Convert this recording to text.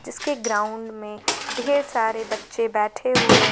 जिसके ग्राउंड में ढेर सारे बच्चे बैठे हुए हैं।